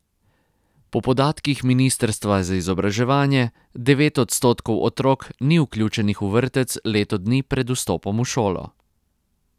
Po podatkih ministrstva za izobraževanje devet odstotkov otrok ni vključenih v vrtec leto dni pred vstopom v šolo.